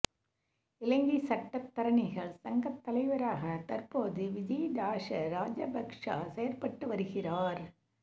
இலங்கை சட்டத்தரணிகள் சங்கத் தலைவராக தற்போது விஜேதாஸ ராஜபக்ஷ செயற்பட்டு வருகிறார்